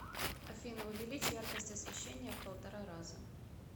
афина увеличь яркость освещения в полтора раза